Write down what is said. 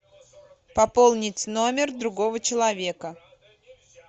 пополнить номер другого человека